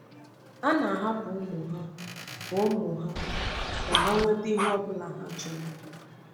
Ha na-ahapụ ụmụ ha ka ụmụ ha ka ha nweta ihe ọ bụla ha chọrọ.